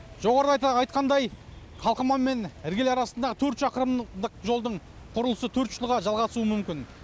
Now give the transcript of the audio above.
жоғарыда айтқандай қалқаман мен іргелі арасындағы төрт шақырымдық жолдың құрылысы төрт жылға жалғасуы мүмкін